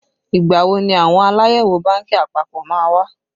Ìgbà wo ni àwọn Aláyẹ̀wò bánkì àpapọ̀ má wá?